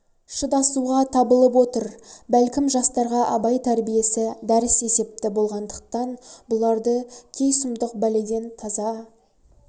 шыдасуға табылып отыр бәлкім жастарға абай тәрбиесі дәріс есепті болғандықтан бұларды кей сұмдық бәледен таза